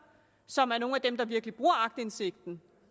som er nogle af dem der virkelig bruger aktindsigten